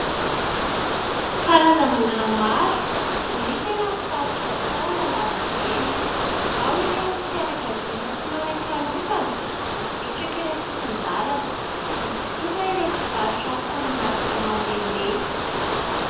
Karazan'olona maro no hita eny amin'ny faritra Tsaralalàna eny. Ao ireo fianakaviana tsy manan-kialofana mipetraka eny an-tsisin-dalana, misy kosa ireo mpivarotra hani-masaka mandehandeha.